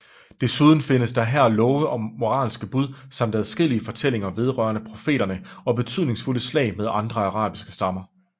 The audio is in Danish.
Desuden findes der her love og moralske bud samt adskillige fortællinger vedrørende profeterne og betydningsfulde slag med andre arabiske stammer